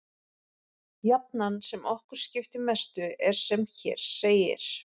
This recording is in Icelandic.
Jafnan sem okkur skiptir mestu er sem hér segir: